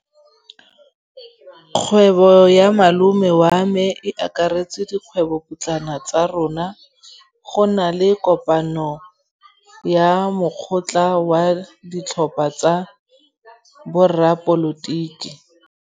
Kgwêbô ya malome wa me e akaretsa dikgwêbôpotlana tsa rona. Go na le kopanô ya mokgatlhô wa ditlhopha tsa boradipolotiki.